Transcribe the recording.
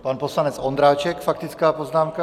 Pan poslanec Ondráček faktická poznámka.